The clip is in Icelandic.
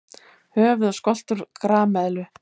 Höfuð og skoltur grameðlu.